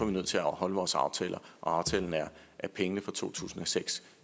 vi nødt til at holde vores aftaler og aftalen er at pengene fra to tusind og seks